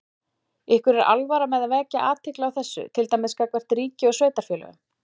Ykkur er alvara með að vekja athygli á þessu, til dæmis gagnvart ríki og sveitarfélögum?